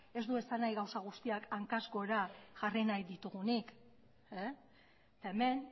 ez du esan nahi gauza guztiak hankaz gora jarri nahi ditugunik eta hemen